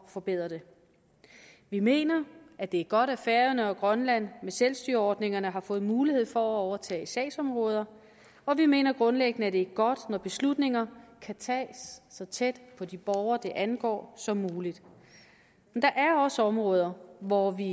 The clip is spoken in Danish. forbedre det vi mener at det er godt at færøerne og grønland med selvstyreordningerne har fået mulighed for at overtage sagsområder og vi mener grundlæggende at det er godt når beslutninger kan tages så tæt på de borgere de angår som muligt men der er også områder hvor vi